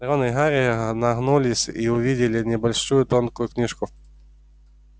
рон и гарри нагнулись и увидели небольшую тонкую книжку